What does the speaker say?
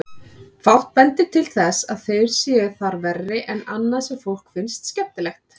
Fátt bendir til þess að þeir séu þar verri en annað sem fólki finnst skemmtilegt.